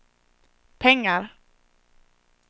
pengar